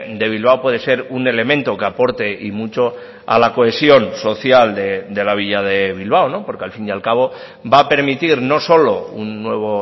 de bilbao puede ser un elemento que aporte y mucho a la cohesión social de la villa de bilbao porque al fin y al cabo va a permitir no solo un nuevo